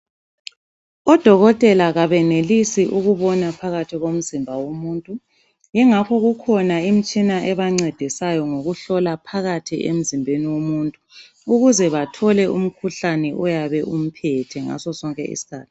Odokotela kabenelisi ukubona phakathi komzimba womuntu, yingakho kukhona imitshina ebancedisayo ngokuhlola phakathi emzimbeni womuntu ukuze bathole umkhuhlane oyabe umphethe ngasosonke isikhathi.